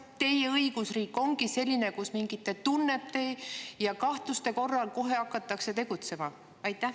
Kas teie õigusriik ongi selline, kus mingite tunnete ja kahtluste korral kohe hakatakse tegutsema?